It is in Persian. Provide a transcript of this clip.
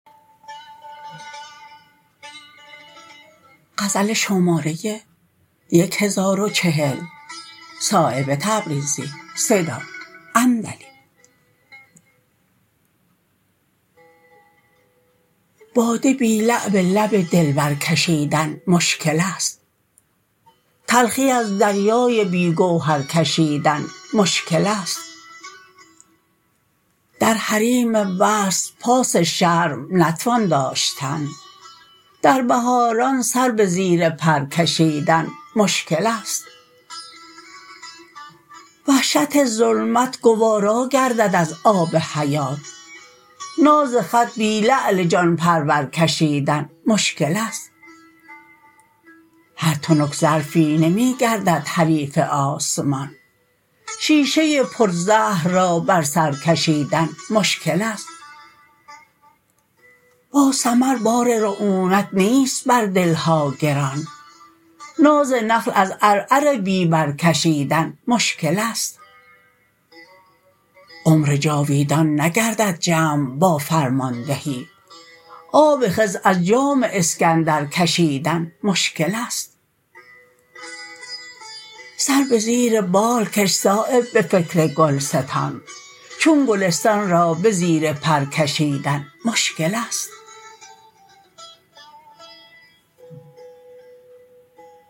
باده بی لعل لب دلبر کشیدن مشکل است تلخی از دریای بی گوهر کشیدن مشکل است در حریم وصل پاس شرم نتوان داشتن در بهاران سر به زیر پر کشیدن مشکل است وحشت ظلمت گوارا گردد از آب حیات ناز خط بی لعل جان پرور کشیدن مشکل است هر تنک ظرفی نمی گردد حریف آسمان شیشه پر زهر را بر سر کشیدن مشکل است با ثمر بار رعونت نیست بر دلها گران ناز نخل از عرعر بی بر کشیدن مشکل است عمر جاویدان نگردد جمع با فرماندهی آب خضر از جام اسکندر کشیدن مشکل است سر به زیر بال کش صایب به فکر گلستان چون گلستان را به زیر پر کشیدن مشکل است